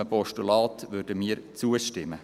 Einem Postulat würden wir zustimmen.